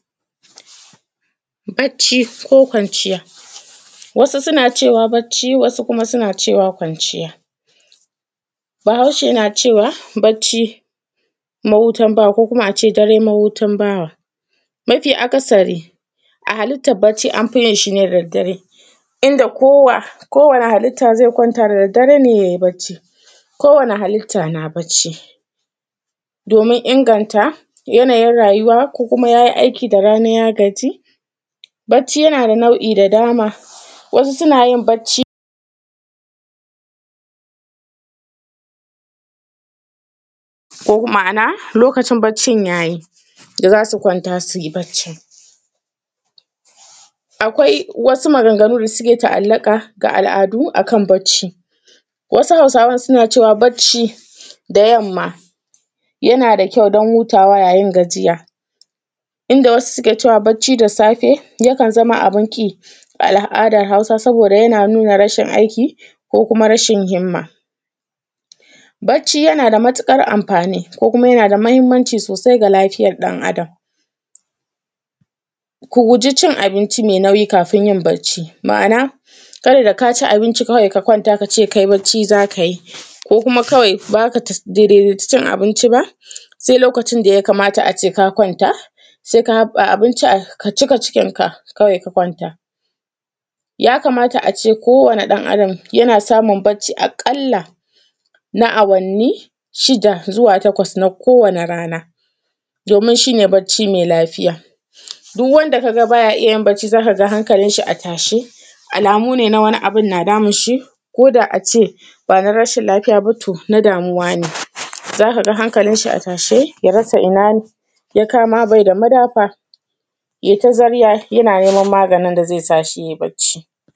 Bacci ko kwanciya. Wasu suna cewa bacci wasu kuma suna cewa kwanciya,, Bahaushe na cewa, bacci mahutan bawa ko kuma a ce dare mahutan bawa, mafi akasari a halittab bacci an fi yin shi ne da daddare, inda kowa; kowane halitta zai kwanta da daddare ne yai bacci, kowane halitta na bacci. Domin inganta yanayin rayuwa, ko kuma ya yi aiki da rana ya gaji, bacci yana da nau’i da dama, wasu suna yin bacci, ko ko ma’ana lokacin baccin ya yi, da za su kwanta sui bacci. Akwai wasu maganganu da suke ta’allaƙa ga al’adu a kan bacci, wasu Hausawan suna cewa bacci da yamma yana da kyau don hutawa yayin gajiya, inda wasu suke cewa bacci da safe, yakan zama abin ƙi a al’adar Hausa saboda yana nuna rashin aiki ko kuma rashin himma. Bacci yana da matuƙar amfani ko kuma yana da mahimmanci sosai ga lafiyar ɗan Adam. Ku guji cin abinci me nauyi kafin yin bacci, ma’ana kada da ka ci abinci kawai ka kwanta ka ce kai bacci za ka yi, ko kuma kawai ba za ka daidaici cin abinci ba, se lokacin da ya kamata a ce ka kwanta, se ka haƃƃa abinci a; ka cika cikinka kawai ka kwanta. Ya kamata a ce kowane ɗan Adam, yana samun bacci aƙalla na awanni shida zuwa takwas na kowane rana, domin shi ne bacci me lafiya. Duw wanda ka ga ba ya iya yin bacci za ka ga hankalinshi a tashe, alamu ne na wani abin na damun shi ko da a ce ba na rashin lafiya ba to na damuwa ne, za ka ga hankalinshi a tashe, ya rasa ina n; ya kama be da madafa, ye ta zarya yana neman maganin da ze sa shi yai bacci.